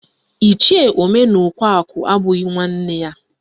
Ichie Omenaụkọakụ abụghị nwanne ya